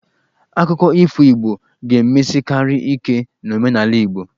Akụkọ ifo Igbo ga-emesikarị ike n'omenala Igbo